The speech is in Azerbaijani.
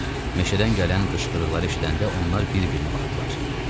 Meşədən gələn qışqırıqları eşidəndə onlar bir-birinə baxdılar.